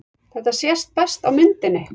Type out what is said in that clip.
Þetta sést best á myndinni.